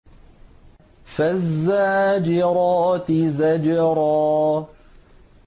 فَالزَّاجِرَاتِ زَجْرًا